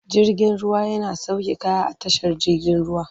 Jirgin ruwa yana sauke kaya a tashar jigin ruwa.